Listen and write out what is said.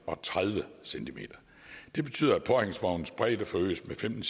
og tredive cm det betyder at påhængsvognens bredde forøges med femten